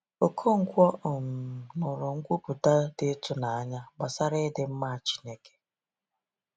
Okonkwo um nụrụ nkwupụta dị ịtụnanya gbasara ịdị mma Chineke.